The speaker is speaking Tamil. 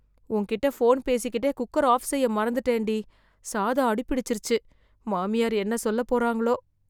உன்கிட்ட ஃபோன் பேசிக்கிட்டே, குக்கர் ஆஃப் செய்ய மறந்துட்டேன்டி... சாதம் அடிபிடிச்சிருச்சு, மாமியார் என்ன சொல்லப் போறாங்களோ...